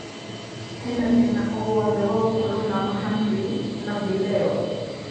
hena thĩna o wothe wa gũkorwo na mahamri na vileo